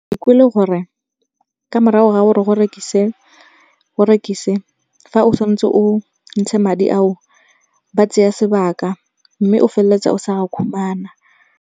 Ke kwile gore ka morago ga gore o rekise fa o tshwan'tse o ntshe madi ao, ba tsaya sebaka mme o feleletsa o sa khumana.